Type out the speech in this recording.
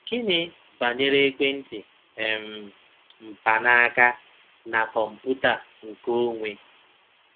Gịnị banyere ekwentị um mkpanaaka na kọmputa nkeonwe?